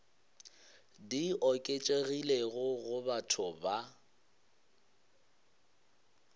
di oketšegilego go batho ba